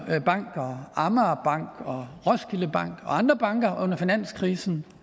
bank amager banken og roskilde bank og andre banker under finanskrisen